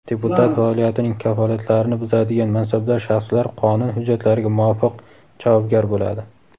deputat faoliyatining kafolatlarini buzadigan mansabdor shaxslar qonun hujjatlariga muvofiq javobgar bo‘ladi.